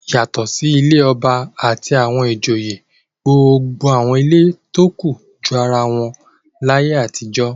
Yàtọ̀ sí ilé ọba àti àwọn ìjòyè gbogbo àwọn ilé tó kù jọ ara wọn láyé àtijọ́.